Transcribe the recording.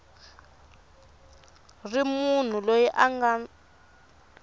ri munhu loyi a nga